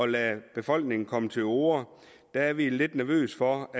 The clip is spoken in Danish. lade befolkningen komme til orde der er vi lidt nervøse for